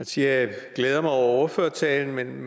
sige at jeg glæder mig over ordførertalen men